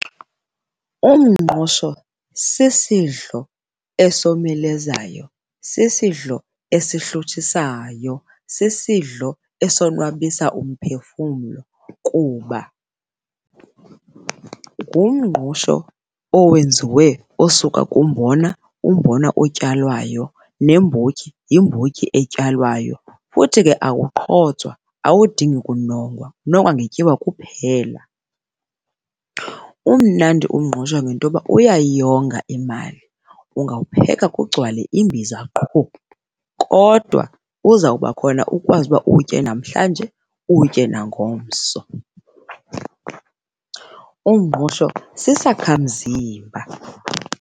Umngqusho sisidlo esomelezayo, sisidlo esihluthisayo, sisidlo esonwabisa umphefumlo kuba ngumngqusho owenziwe osuka kumbona, umbona otyalwayo, nembotyi yimbotyi etyalwayo futhi ke awuqhotswa awudingi kunongwa, unongwa ngetyiwa kuphela. Umnandi umngqusho ngento yoba uyayonga imali, ungawupheka kugcwale imbiza qhu, kodwa uzawuba khona ukwazi ukuba uwutye namhlanje uwutye nangomso. Umngqusho sisakhamzimba.